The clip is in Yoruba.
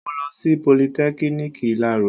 Mo lọ sí politẹ́kiniki ìláro